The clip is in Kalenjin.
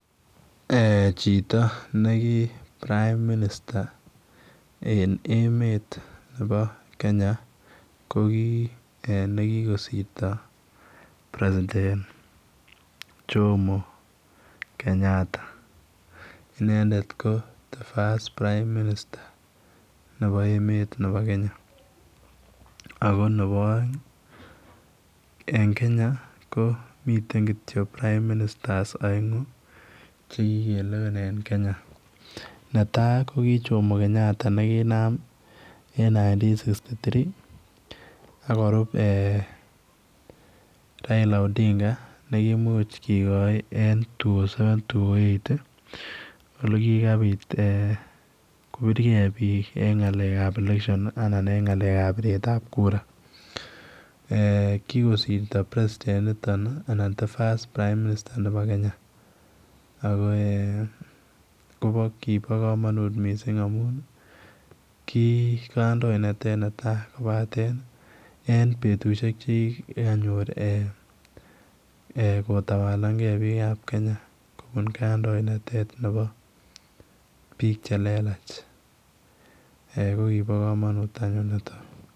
Chito nikiprime minista en emet Nebo Kenya ko kinegosirto president Jomo Kenyatta inendet ko first prime minister Nebo Kenya ako Nebo aeng en Kenya ko miten prime minister aeng chekikelewen en Kenya netai ko ki Jomo Kenyatta nekinam en Nitin sigisti tirii akorub Raila Odinga nekimuch kegoi en two thousand and seve ,two thousand and eight olekikabit kobirgei bik en ngalek ab leshen ak ngalek ab biret ab kura kikosirto president initon anan the first prime minister Nebo Kenya kibo kamanut mising amun kikandoenatet netai kobaten en betushek chekikanyor kotawal gei bik ab Kenya kobun kandoinatet Nebo bik chelelach kokibo kamanut niton .